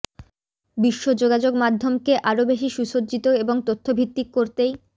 বিশ্ব যোগাযোগ মাধ্যমকে আরও বেশি সুসজ্জিত এবং তথ্যভিত্তিক করতেই